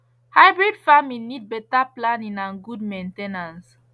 hybrid farming need better planning and good main ten ance